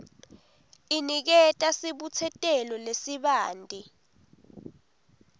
iniketa sibutsetelo lesibanti